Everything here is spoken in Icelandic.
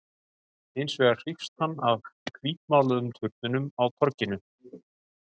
Hins vegar hrífst hann af hvítmáluðum turninum á torginu.